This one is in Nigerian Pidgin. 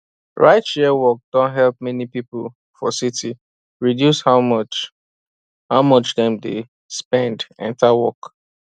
rideshare work don help many people for city reduce how much how much dem dey spend enter work